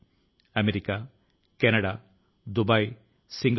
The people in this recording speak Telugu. వారి ని నేను అభినందిస్తున్నాను